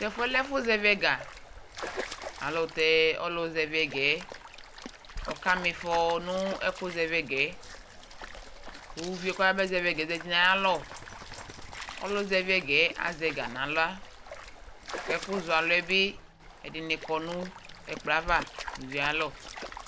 Tɛ fu yɛ lɛ ɛfu zɛvi ɛga Alu tɛ ɔlu zɛvi ɛga yɛ ɔkamifɔ nu ɛku zɛviga yɛ Ku uvi yɛ ku ɔyaba zɛvi ɛga yɛ za uti nu ayu alɔ Ɔlu zɛvi ɛga yɛ azɛ ga nu aɣla ku ɛku zɔ alu yɛ bi ɛdini kɔ nu ɛkplɔ yɛ ava nu uvi yɛ ayu alɔ